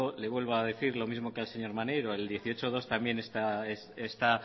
le vuelvo a decir lo mismo que al señor maneiro el dieciocho punto dos también está